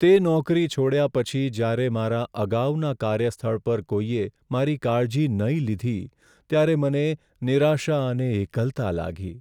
તે નોકરી છોડ્યા પછી જ્યારે મારા અગાઉના કાર્યસ્થળ પર કોઈએ મારી કાળજી નહીં લીધી ત્યારે મને નિરાશા અને એકલતા લાગી.